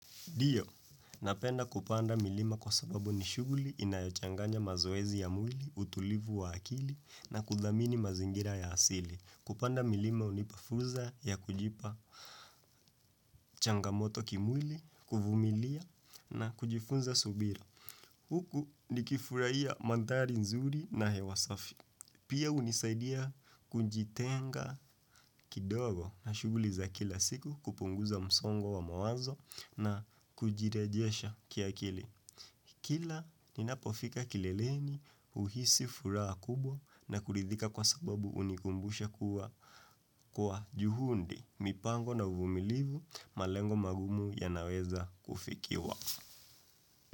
Ndio, napenda kupanda milima kwa sababu ni shughuli inayochanganya mazoezi ya mwili, utulivu wa akili na kuthamini mazingira ya asili. Kupanda milima hunipa fursa ya kujipa changamoto kimwili, kuvumilia na kujifunza subira. Huku nikifurahia mandhari nzuri na hewa safi. Pia hunisaidia kujitenga kidogo na shughuli za kila siku kupunguza msongo wa mawazo na kujirejesha kiakili. Kila ninapofika kileleni huhisi furaha kubwa na kuridhika kwa sababu hunikumbusha kuwa juhudi, mipango na uvumilivu, malengo magumu yanaweza kufikiwa.